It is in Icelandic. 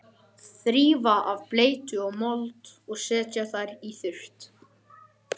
Þrífa af bleytu og mold og setja þær í þurrt.